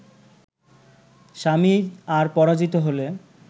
স্বামী আর পরাজিত হলে